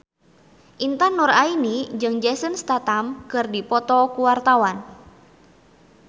Intan Nuraini jeung Jason Statham keur dipoto ku wartawan